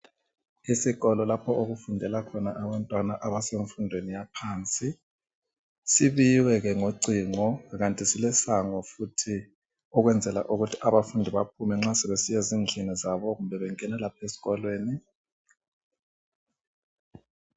Esikolo lapho okufundela khona abantwana abasemfundweni yaphansi sibiyiwe ke ngocingo kanti silesango futhi ukwenzela ukuthi abafundi baphume nxa sebesiya ezindlini zabo kumbe bengena lapho eskolweni.